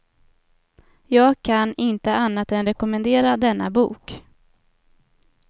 Jag kan inte annat än rekommendera denna bok.